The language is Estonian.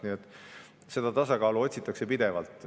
Nii et tasakaalu otsitakse pidevalt.